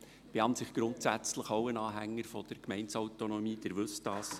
Ich bin grundsätzlich auch ein Anhänger der Gemeindeautonomie, Sie wissen dies.